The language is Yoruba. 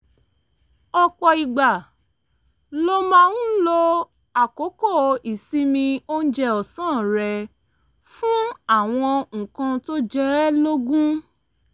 ọ̀pọ̀ ìgbà ló máa ń lo àkókò ìsinmi oúnjẹ ọ̀sán rẹ̀ fún àwọn nǹkan tó jẹ ẹ́ lógún